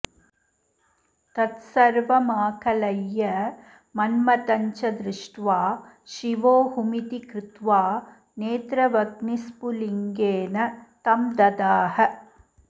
तत्सर्वमाकलय्य मन्मथञ्च दृष्ट्वा शिवो हुमिति कृत्वा नेत्रवह्रिस्फुलिङ्गेन तं ददाह